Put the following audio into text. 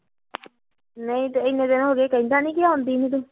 ਨਈ ਇਨੇ ਦਿਨ ਹੋਗੇ ਕਹਿੰਦਾ ਨੀ ਆਉਂਦੀ ਨੀ ਤੂੰ